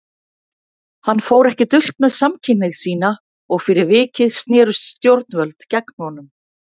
Hann fór ekki dult með samkynhneigð sína og fyrir vikið snerust stjórnvöld gegn honum.